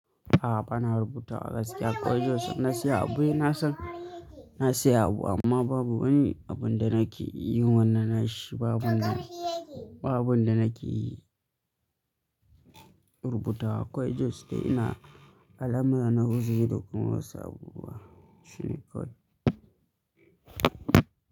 A'a bana rubutawa gaskiya kwai Jost ina saya abu, na san na saya abu amma babu wani abun da nake yi wannan nashi babu na, babu abun da nake yi rubuta akwai Just da ina alama na wuce dukan wasu abubuwa shine kawai.